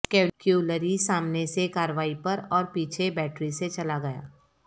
cavalry سامنے سے کارروائی پر اور پیچھے بیٹری سے چلا گیا